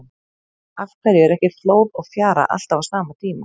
Af hverju er ekki flóð og fjara alltaf á sama tíma?